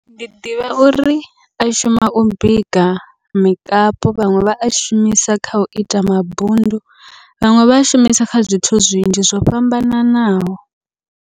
Ndi ḓivha uri a shuma u bika mikapu vhaṅwe vha a shumisa kha uita mabundu, vhaṅwe vha a shumisa kha zwithu zwinzhi zwo fhambananaho.